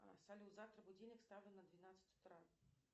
салют завтра будильник ставлю на двенадцать утра